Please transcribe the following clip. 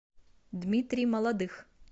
дмитрий молодых